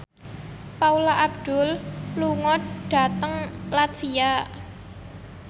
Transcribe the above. Paula Abdul lunga dhateng latvia